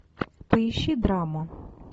поищи драму